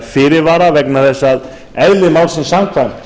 fyrirvara vegna þess að eðli málsins samkvæmt